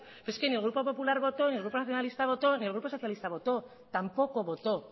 pero es que ni grupo popular votó ni el grupo nacionalista votó ni el grupo socialista votó tampoco votó